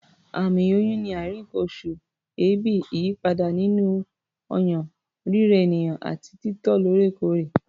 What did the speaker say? Àmì oyún ni àìrí nǹkan-oṣù, èébì, ìyípadà nínú ọyàn, rírẹ ènìyàn àti títọ̀ lóòrèkóòrè.